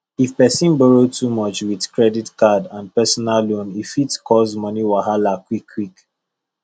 if person borrow too much with credit card and personal loan e fit cause money wahala quick quick